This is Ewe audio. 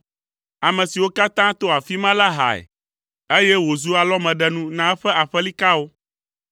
Ame siwo katã to afi ma la hae, eye wòzu alɔmeɖenu na eƒe aƒelikawo.